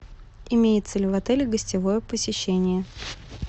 имеется ли в отеле гостевое посещение